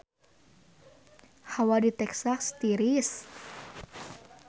Hawa di Texas tiris